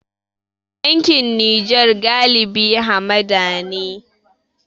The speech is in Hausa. Yankin Nijar galibi hamada ne.